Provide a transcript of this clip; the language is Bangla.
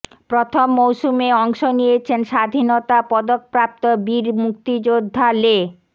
প্রথম মৌসুমে অংশ নিয়েছেন স্বাধীনতা পদকপ্রাপ্ত বীর মুক্তিযোদ্ধা লে